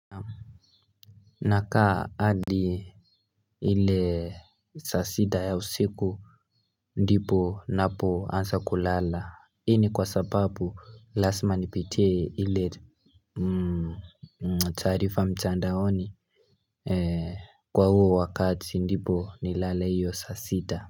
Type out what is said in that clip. Nakaa adi ile saa sita ya usiku ndipo napo ansa kulala hii ni kwa sababu lasma nipitie ili tarifa mchandaoni kwa huo wakati ndipo nilale hiyo saa sita.